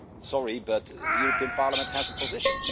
Sorry, but the European Parliament has a position